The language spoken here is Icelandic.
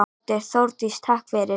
Broddi: Þórdís takk fyrir.